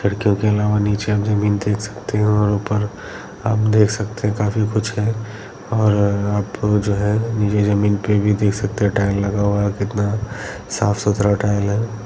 खिड़कियों के अलावा नीचे आप जमीन देख सकते हो और ऊपर आप देख सकते हो काफी कुछ है और आप जो है ये जमीन पे भी देख सकते हो टाइल्स लगा हुआ हैं कितना साफ सुथरा टाइल है।